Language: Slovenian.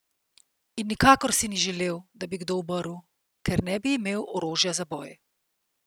In nikakor si ni želel, da bi kdo umrl, ker ne bi imel orožja za boj.